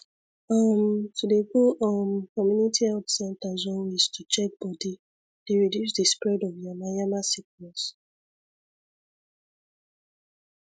um to dey go um community health centres always to check body dey reduce di spread of yama yama sickness